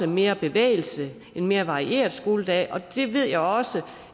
mere bevægelse til en mere varieret skoledag og det ved jeg også